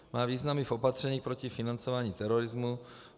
Má význam i v opatření proti financování terorismu.